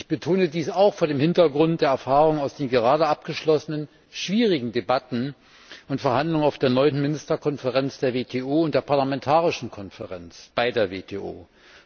Ich betone dies auch vor dem Hintergrund der Erfahrung aus den gerade abgeschlossenen schwierigen Debatten und Verhandlungen auf der neunten Ministerkonferenz der WTO und der Parlamentarischen Konferenz bei der WTO.